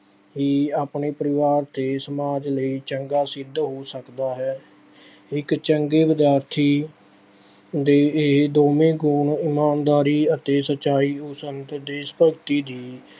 ਹੀ ਆਪਣੇ ਪਰਿਵਾਰ ਅਤੇ ਸਮਾਜ ਲਈ ਚੰਗਾ ਸਿੱਧ ਹੋ ਸਕਦਾ ਹੈ। ਇੱਕ ਚੰਗੇ ਵਿਦਿਆਰਥੀ ਦੇ ਇਹ ਦੋਵੇਂ ਗੁਣ ਇਮਾਨਦਾਰੀ ਅਤੇ ਸੱਚਾਈ ਨੂੰ ਸੰਤ ਦੇਸ਼ ਭਗਤੀ ਦੀ।